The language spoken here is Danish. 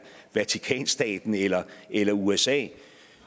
vatikanstaten eller eller usa